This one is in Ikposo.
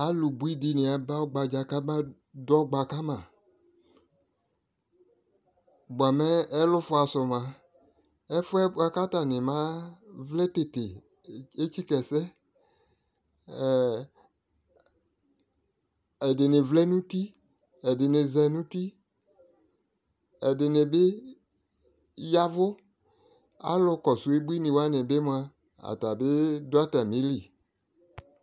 alo bui di ni aba ɔgba dza kaba dɔ ɔgba ka ma boa mɛ ɛlofoa so moa ɛfoɛ boa ko atani ma vlɛ tete etsika ɛsɛ ɛdini vlɛ no uti ɛdini za no uti ɛdini bi yavo alo kɔso ubuini wani bi moa atani do atamili